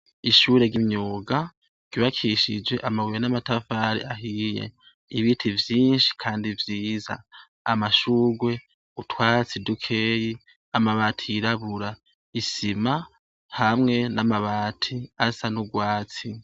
Ishure ry'imyuga ryubakishijwe amabuye n'amatafari ahiye, ibiti vyinshi kandi vyiza, amashurwe ,utwatsi dukeyi ,amabati yirabura, isima hamwe n'amabati asa n'urwatsi.